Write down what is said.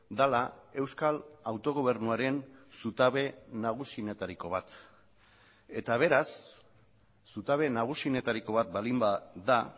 dela euskal autogobernuaren zutabe nagusienetariko bat eta beraz zutabe nagusienetariko bat baldin bada